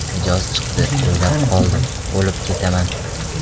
Mijoz chiqdi, o‘ylab qoldim: ‘Olib ketaman.